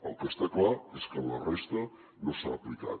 el que està clar és que en la resta no s’ha aplicat